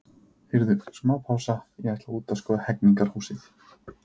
Heyrðu, smá pása, ég ætla út að skoða Hegningarhúsið.